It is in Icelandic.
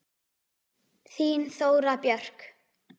Þín Þóra Björk.